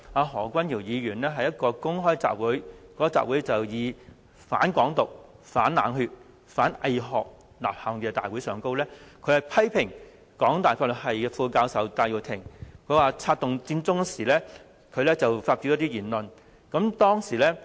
何君堯議員去年9月在一個"反港獨"、反冷血、反偽學的公開吶喊大會上，批評香港大學法律系副教授戴耀廷策動佔中時所發表的一些言論。